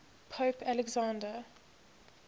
pope alexander